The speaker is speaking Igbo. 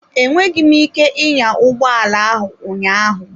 Enweghị m ike ịnya ụgbọ ala ahụ ụnyaahụ.